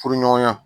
Furuɲɔgɔnya